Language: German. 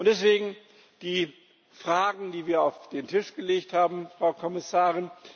Deswegen die Fragen, die wir auf den Tisch gelegt haben, Frau Kommissarin.